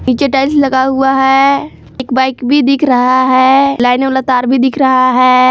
नीचे टाइल्स लगा हुआ है एक बाइक भी दिख रहा है लाइन वाला तार भी दिख रहा है।